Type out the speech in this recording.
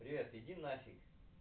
привет иди нафиг